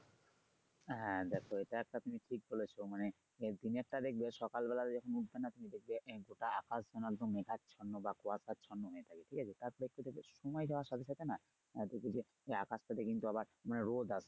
হ্যা দেখো এটা একটা তুমি ঠিক বলেছো মানে দিনের টা দেখবে সকাল বেলা মিলছে না ঠিকই দেখবে আকাশ যেন একদম মেঘাচ্ছন্ন বা কুয়াচ্ছান্ন হয়ে থাকে ঠিক আছে তারপর একটু পর দেখবে সময় যাওয়ার সাথে সাথে না দেখবে যে আকাশটাতে কিন্তু আবার রোদ আছে।